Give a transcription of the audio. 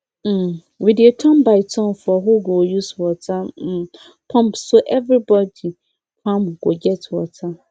um we dey turn by turn for who go use water um pump so everybody farm go get water